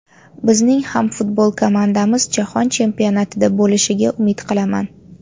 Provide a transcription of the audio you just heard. Bizning ham futbol komandamiz jahon chempionatida bo‘lishiga umid qilaman”.